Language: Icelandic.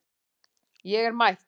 Ég er mætt